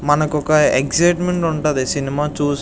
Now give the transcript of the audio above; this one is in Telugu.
మనకు ఒక ఎగ్జిట్మెంట్ ఉంటది సినిమా --